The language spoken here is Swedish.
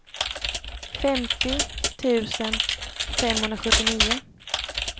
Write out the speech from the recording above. femtio tusen femhundrasjuttionio